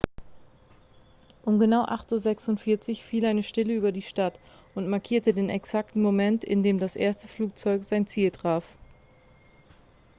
um genau 8:46 uhr fiel eine stille über die stadt und markierte den exakten moment in dem das erste flugzeug sein ziel traf